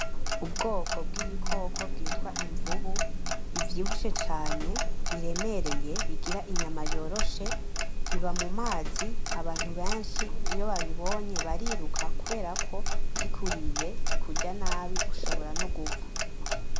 Ubwoko bw’ibikoko bwitwa imvubu bivyibushe cane biremerye bigira inyama yoroshe, biba mumazi abantu benshi iyo babibonye bariruka kuberako kikuriye kikuryanabi ushobora no gupfa.